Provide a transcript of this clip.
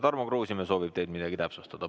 Tarmo Kruusimäe soovib, et te midagi täpsustaksite.